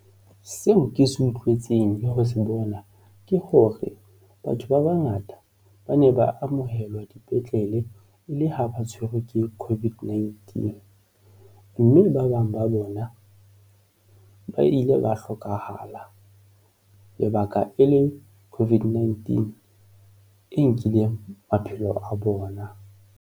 Seo ke se utlwetseng le ho se bona ke hore batho ba bangata ba ne ba amohelwa dipetlele e le ha ba tshwerwe ke COVID-19 mme ba bang ba bona ba ile ba hlokahala lebaka e le COVID-19 e nkileng maphelo a bona.